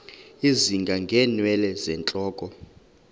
ezinga ngeenwele zentloko